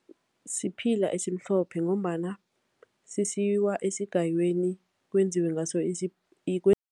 Siphila esimhlophe ngombana sisiwa esigayweni, kwenziwe ngaso